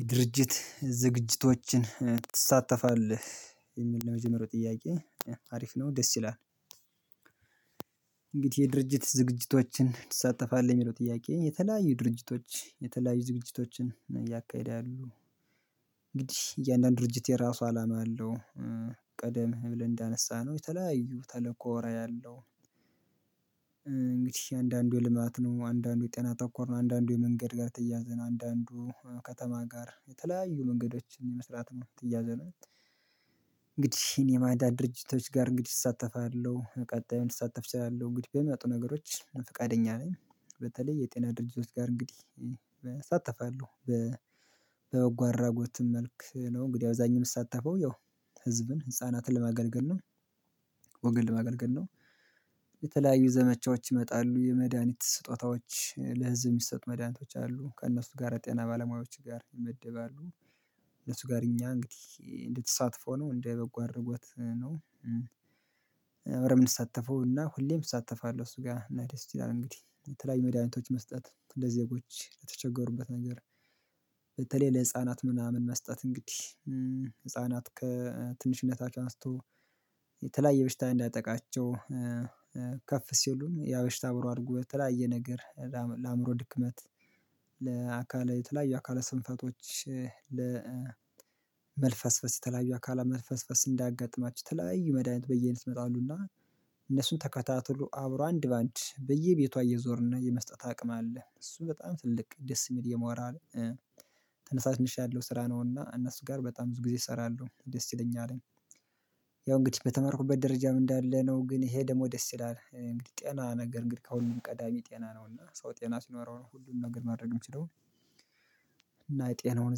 የድርጅት ዝግቶችን ትሳተፋለህ የሚል ነው የመጀመሪያው ጥያቄ አሪፍ ነው ደስ ይላል እንግዲህ የድርጅት ዝግጅቶችን ትሳተፋለህ የሚለው ጥያቄ። የተለያዩ ድርጅቶች የተለያዩ ዝግጅቶችን እያካሄደ ያሉ እንግዲህ እያንዳንዱ ድርጅት የራሱ አላማ አለው። ቀደም ብለን እንዳነሳነው የተለያዩ ተልእኮ ራኢ ያለው። እንግዲህ አንድ አንዱ ልማት ነው አንዳንዱ የጤና ተኮር ነው አንዳንዱ የመንገድ ጋር ተያያዘ ነው አንዳንዱ ከተማ ጋር የተለያዩ መንገዶችን የመስራት የተያያዘ ነው። እንግዲህ የማዳ ድርጅቶች ጋር እንግዲህ እሳተፋለሁ ቀጣዩን ልሳተፍ እችላለሁ ግድ በመጡ ነገሮች ፈቃደኛ ነኝ። በተለይ የጤና ድርጅቶች ጋር እንግዲህ እሳተፋለሁ። በበጎ አድራጎትም መልክ ነው እንግዲህ አብዛኛውን የምሳተፈው ያው ህዝብን ህፃናትን ለማገልገል ነው። ወገን ለማገልገል ነው። የተለያዩ ዘመቻዎች ይመጣሉ የመድሃኒት ስጦታዎች ለህዝብ የሚሰጡ መድኃኒቶች አሉ ከእነሱ ጋር የጤና ባለሙያዎች ጋር ይመደባሉ። እነሱ ጋር እኛ እንግዲህ እንደ ተሳትፎ ነው እንደ በጎ አድራጎት ነው። አብረን የምንሳተፈው እና ሁሌም እሳተፋለሁ እነሱ ጋር እና ደስ ይላል እንግዲህ የተለያዩ መድኃኒቶች መስጠት ለዜጎች ለተቸገሩበት ነገር። በተለይ ለህፃናት ምናምን መስጠት እንግዲህ ህፃናት ከትንሽነታቸው አንስቶ የተለያየ በሽታ እንዳያጠቃቸው። ከፍ ሲሉም ያበሽታ አብሮ አድጎ የተለያየ ነገር ለአእምሮ ድክመት። ለአካል የተለያየ አካለ ስንፈቶች ለመልፈስፈስ የተለያዩ አካላ መልፈስፈስ እንዳያጋጥማቸው የተለያዩ መድሃኒት በየአይነት ይመጣሉና። እነሱን ተከታትሎ አብሮ አንድ በአንድ በየቤቷ እየዞርን የመስጠት አቅም አለ እሱ በጣም ትልቅ ደስ የሚል የሞራል ተነሳሽ ነሽ ያለው ስራ ነውና እነሱ ጋር በጣም ብዙ ጊዜ እሰራለሁ ደስ ይለኛል። ያው እንግዲህ በተመርኩበት ደረጃም እንዳለ ነው ግን ይሄ ደግሞ ደስ ይላል እንግዲህ ጤና ነገር እንግዲህ ከሁሉም ቀዳሚ ጤና ነው እና ሰው ጤና ሲኖረው ነው ሁሉንም ነገር ማድረግ የሚችለው። እና የጤናውን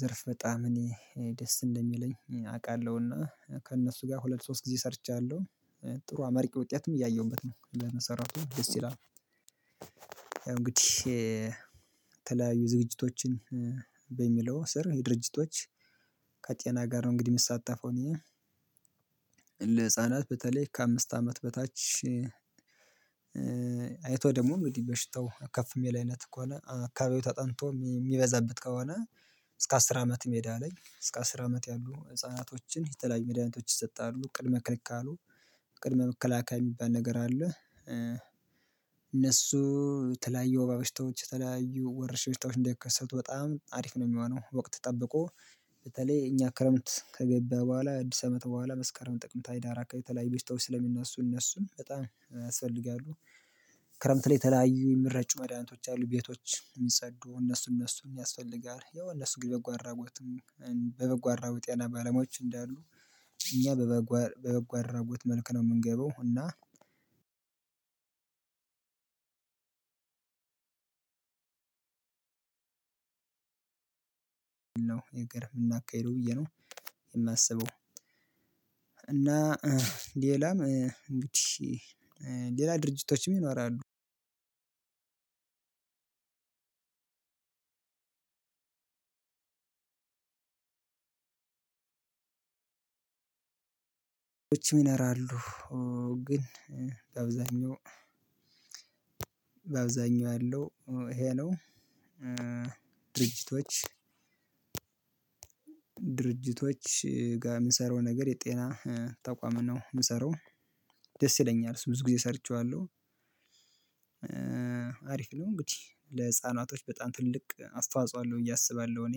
ዘርፍ በጣም እኔ ደስ እንደሚለኝ አውቃለሁና ከእነሱ ጋር ሁለት ሶስት ጊዜ ሰርቻለሁ። ጥሩ አመርቂ ውጤትም እያየሁበት ነው ለነሰራሁት ደስ ይላል። እንግዲህ የተለያዩ ዝግጅቶችን በሚለው ስር የድርጅቶች ከጤና ጋር ነው እንግዲህ የሚሳተፈው እኔ ለህፃናት በተለይ ከአምስት አመት በታች። አይቶ ደግሞ እንግዲህ በሽታው ከፍ የሚል አይነት ከሆነ አካባቢው ተጠንቶ የሚበዛበት ከሆነ እስከ አስር አመት ሜዳ ላይ እስከ አስር አመት ያሉ ህፃናቶችን የተለያዩ መድኃኒቶች ይሰጣሉ ቅድመ ክልክል ካሉ ቅድመ መከላከል የሚባል ነገር አለ። እነሱ የተለያየ ወባ በሽታዎች የተለያዩ ወረችሽኝ በሽታዎች እንዳይከሰቱ በጣም አሪፍ ነው የሚሆነው ወቅት ጠብቆ በተለይ እኛ ክረምት ከገባ በኋላ አዲስ አመት በኋላ መስከረም ጥቅምት ህዳር አካባቢ የተለያዩ በሽታዎች ስለሚነሱ እነሱን በጣም ያስፈልጋሉ። ክረምት ላይ የተለያዩ የሚረጩ መድኃኒቶች አሉ ቤቶች የሚጸዱ እነሱ እነሱን የሚያስፈልጋል ያው እነሱ ግን በጎ አራጎትም በበጎ አራጎት የጤና ባለሞያዎች እንዳሉ እኛ በበጎ በበጎ አድራጎት መልክ ነው የምንገባው እና። ነው የምናካሄደው ብዬ ነው የማስበው። እና ሌላም እንግዲህ ሌላ ድርጅቶችም ይኖራሉ። ይቺን ይኖራሉ ግን በአብዛኛው በአብዛኛው ያለው ይሄ ነው። ድርጅቶች ድርጅቶች ጋር የምንሰራው ነገር የጤና ተቋም ነው የምሰራው። ደስ ይለኛል እሱ ብዙ ጊዜ ሰርቼዋለሁ። አሪፍ ነው እንግዲህ ለህፃናቶች በጣም ትልቅ አስተዋጾ አለሁ ብዬ አስባለሁ እኔ።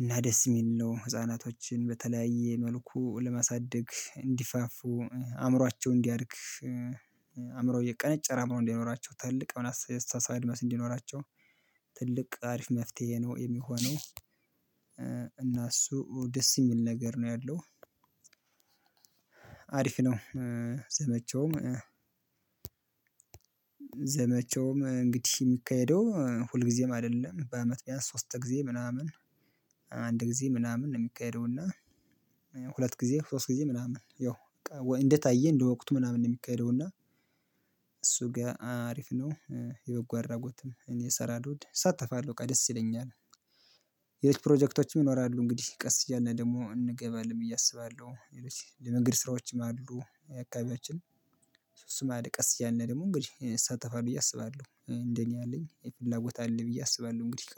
እና ደስ የሚል ነው ህፃናቶችን በተለያየ መልኩ ለማሳደግ እንዲፋፉ አእምሯቸውን እንዲያድግ አእምሮ እየቀነጨረ አእምሮ እንዳይኖራቸው ትልቅ አሁን የአስተሳሰብ አድማስ እንዲኖራቸው ትልቅ አሪፍ መፍትሄ ነው የሚሆነው። እና እሱ ደስ የሚል ነገር ነው ያለው። አሪፍ ነው። ዘመቻውም ዘመቻውም እንግዲህ የሚካሄደው ሁልጊዜም አይደለም በአመት ቢያንስ ሶስት ጊዜ ምናምን አንድ ጊዜ ምናምን ነው የሚካሄደው እና። ሁለት ጊዜ ሶስት ጊዜ ምናምን ያው እንደታየ እንደወቅቱ ምናምን ነው የሚካሄደው እና። እሱ ጋር አሪፍ ነው። የበጎ አራጎትም እኔ እሰራለሁ እሳተፋለሁ በቃ ደስ ይለኛል። ሌሎች ፕሮጀክቶችም ይኖራሉ እንግዲህ ቀስ እያልን ደግሞ እንገባለን ብዬ አስባለሁ። ለመንገድ ስራዎችም አሉ አካባቢያችን እሱ እሱም አለ ቀስ እያልን ደግሞ እንግዲህ እሳተፋለው ብዬ አስባለሁ እንደኛ አለኝ ፍላጎት አለኝ ብዬ አስባለሁ እንግዲህ